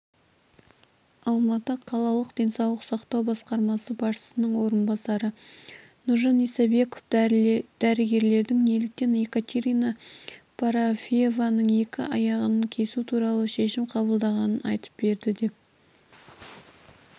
алматы қалалық денсаулық сақтау басқармасы басшысының орынбасары нұржан исабеков дәрігерлердің неліктен екатерина парафиеваның екі аяғын кесу туралы шешім қабылдағанын айтып берді деп